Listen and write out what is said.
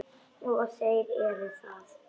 Og þeir eru það.